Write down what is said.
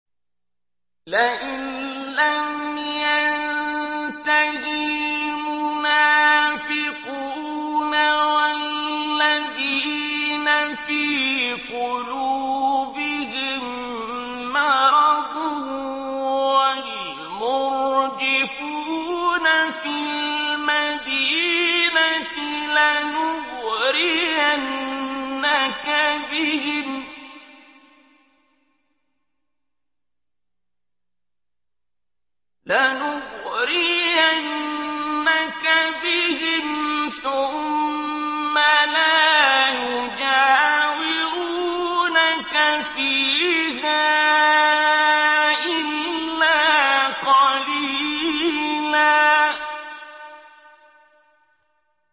۞ لَّئِن لَّمْ يَنتَهِ الْمُنَافِقُونَ وَالَّذِينَ فِي قُلُوبِهِم مَّرَضٌ وَالْمُرْجِفُونَ فِي الْمَدِينَةِ لَنُغْرِيَنَّكَ بِهِمْ ثُمَّ لَا يُجَاوِرُونَكَ فِيهَا إِلَّا قَلِيلًا